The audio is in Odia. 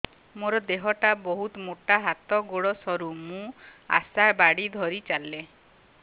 ମୋର ଦେହ ଟା ବହୁତ ମୋଟା ହାତ ଗୋଡ଼ ସରୁ ମୁ ଆଶା ବାଡ଼ି ଧରି ଚାଲେ